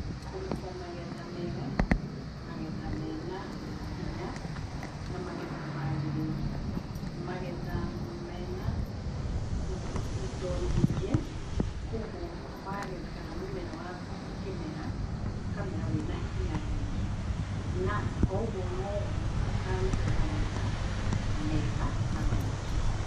Kũruta magetha mega, magetha mena hinya na magetha maagirĩru, magetha mena indo nyingĩ. Kwoguo wagetha kana mũmera waku ũkĩmera, ũkamera wĩna hinya mũingĩ, na o ũguo no guo ũkaruta magetha mega na maingĩ.